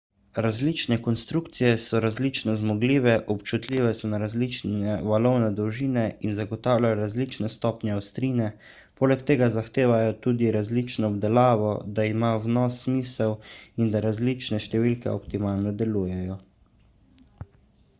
različne konstrukcije so različno zmogljive občutljive so na različne valovne dolžine in zagotavljajo različne stopnje ostrine poleg tega zahtevajo tudi različno obdelavo da ima vnos smisel in da različne številke optimalno delujejo